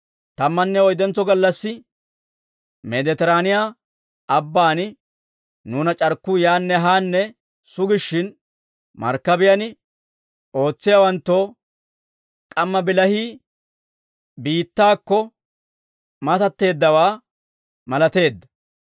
Tammanne oyddentso gallassi Meeditiraaniyaa Abbaan nuuna c'arkkuu yaanne haanne sugishshin, markkabiyaan ootsiyaawanttoo k'amma bilahii biittaakko mateeddawaa malateedda.